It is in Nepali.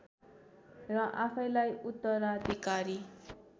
र आफैँलाई उत्तराधिकारी